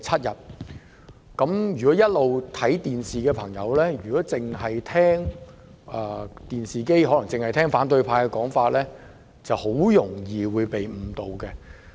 一直有收看電視直播的朋友若只聽反對派的說法，很容易會被誤導。